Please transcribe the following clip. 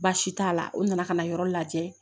Baasi t'a la o nana ka na yɔrɔ lajɛ